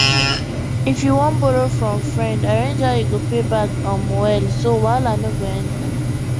if you wan borrow from friend arrange how you go pay back um well so wahala no go enter